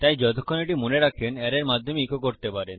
তাই যতক্ষণ এটি মনে রাখেন অ্যারের মাধ্যমে ইকো করতে পারেন